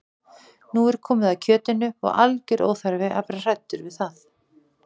Nú er komið að kjötinu og algjör óþarfi að vera hræddur við það.